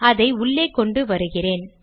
அதை உள்ளே கொண்டு வருகிறேன்